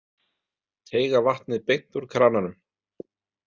Teyga vatnið beint úr krananum.